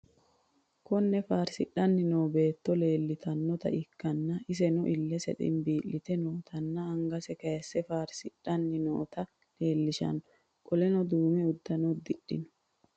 Kuni farsixani noo beeto leelitanoota ikana iseno ilese ximibilite nootana angase kayise fariso farsixani nootae lelishano qoleno dume udano udixino?